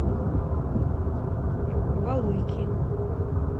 валуйки